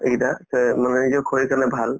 এইকেইটা যে নহলে নিজৰ শৰীৰৰ কাৰণে ভাল